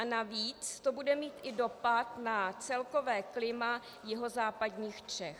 A navíc to bude mít i dopad na celkové klima jihozápadních Čech.